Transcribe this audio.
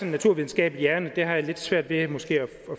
en naturvidenskabelig hjerne det har jeg måske lidt svært ved at